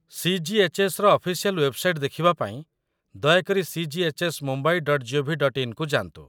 ସି.ଜି.ଏଚ୍.ଏସ୍.ର official website ଦେଖିବା ପାଇଁ ଦୟାକରି cghsmumbai.gov.in କୁ ଯାଆନ୍ତୁ।